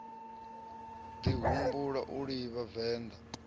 ḓi humbula u livha venḓa